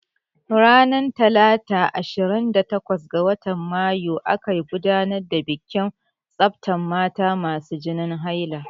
Ranar talata ashirin da takwas ga watan mayu aka gudanar da bikin tsaftan mata masu jinin haila.